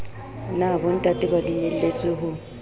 na bontate ba dumelletswe ho